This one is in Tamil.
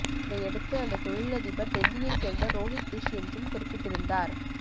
இதையடுத்து அந்த தொழிலதிபர் டெல்லியைச் சேர்ந்த ரோஹித் விஷ் என்றும் குறிப்பிட்டிருந்தார்